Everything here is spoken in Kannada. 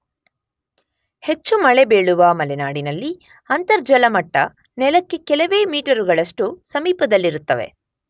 ಹೆಚ್ಚು ಮಳೆ ಬೀಳುವ ಮಲೆನಾಡಿನಲ್ಲಿ ಅಂತರ್ಜಲ ಮಟ್ಟ ನೆಲಕ್ಕೆ ಕೆಲವೇ ಮೀಟರುಗಳಷ್ಟು ಸಮೀಪದಲ್ಲಿರುತ್ತವೆ.